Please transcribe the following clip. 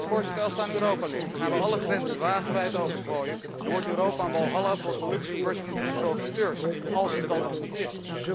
Voorzitter, als het aan Europa ligt gaan wij alle grenzen wagenwijd opengooien en wordt Europa een walhalla voor gelukszoekers en profiteurs, als het dat al niet is.